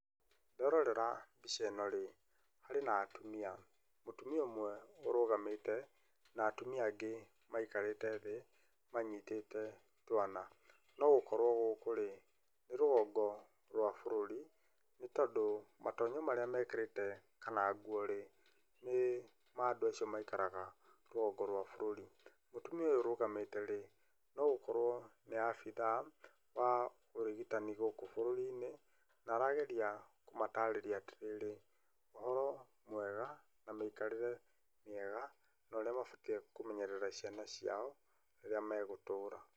Nderorera mbica ĩno rĩ harĩ na atumia, mũtumia ũmwe ũrũgamĩte na atumia angĩ maikarĩte thĩ manyitĩte twana. Nogũkorwo gũkũ rĩ nĩ rũgongo rwa bũrũri nĩ tondũ matonyo marĩa mekĩrĩte kana nguo rĩ nĩ cia andũ acio maikaraga rũgongo rwa bũrũri. Mũtumia ũyũ ũrũgamĩte rĩ nogũkorwo nĩ abithaa wa ũrigitani gũkũ bũrũri-inĩ na arageria kũmatarĩria atĩrĩrĩ ũhoro mwega na mĩikarĩre mĩega na ũrĩa mabatie kũmenyerera ciana ciao rĩrĩa megũtũra.